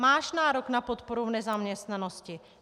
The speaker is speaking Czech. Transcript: Máš nárok na podporu v nezaměstnanosti.